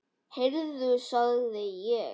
Heyrðu sagði ég.